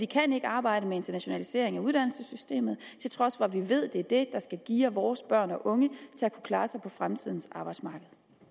kan arbejde med internationalisering af uddannelsessystemet til trods for vi ved at det er det der skal geare vores børn og unge til at kunne klare sig på fremtidens arbejdsmarked